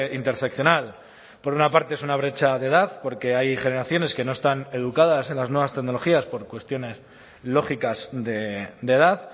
interseccional por una parte es una brecha de edad porque hay generaciones que no están educadas en las nuevas tecnologías por cuestiones lógicas de edad